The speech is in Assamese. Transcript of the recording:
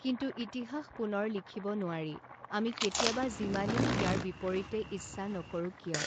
কিন্তু ইতিহাস পুনৰ লিখিব নোৱাৰি, আমি কেতিয়াবা যিমানেই ইয়াৰ বিপৰীতে ইচ্ছা নকৰোঁ কিয়।